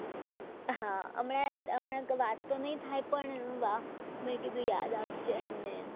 હા આમ અમે હમણાં તો વાતો નહીં થાય પણ મેં કીધું યાદ આપજે એમને એમ